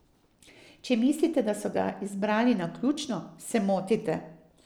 Če mislite, da so ga izbrali naključno, se motite.